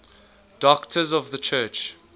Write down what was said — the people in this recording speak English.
doctors of the church